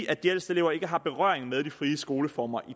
at de ældste elever ikke har nogen berøring med de frie skoleformer i